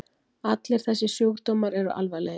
Allir þessir sjúkdómar eru alvarlegir.